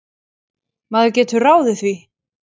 Maður getur ráðið því.